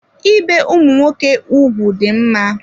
Ibe ụmụ nwoke ụgwụ dị mma.